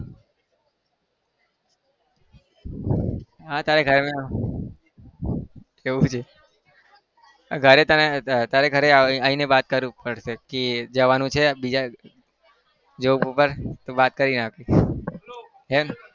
હા તારે ઘરે એવું છે ઘરે તને તારે ઘરે આવીને વાત કરું perfect કે જવાનું છે બીજા job ઉપર તો વાત કરી નાખીશ. है ने?